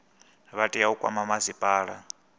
vha tea u kwama masipala